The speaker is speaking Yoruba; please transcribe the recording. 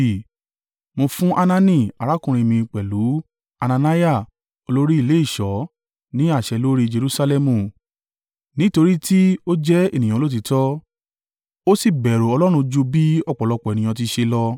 Mo fún Hanani arákùnrin mi pẹ̀lú Hananiah olórí ilé ìṣọ́ ní àṣẹ lórí Jerusalẹmu, nítorí tí ó jẹ́ ènìyàn olóòtítọ́, ó sì bẹ̀rù Ọlọ́run jù bí ọ̀pọ̀lọpọ̀ ènìyàn ti ṣe lọ.